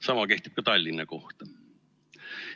Sama kehtib ka Tallinna kohta.